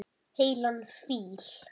Heilan fíl.